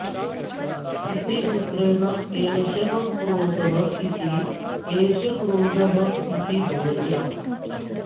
इति सूत्रेण एषः क्रोधः इति एष क्रोधः इति भवति